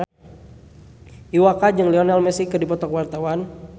Iwa K jeung Lionel Messi keur dipoto ku wartawan